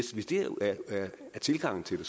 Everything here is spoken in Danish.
er tilgangen til det